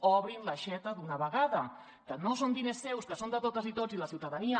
obrin l’aixeta d’una vegada que no són diners seus que són de totes i tots de la ciutadania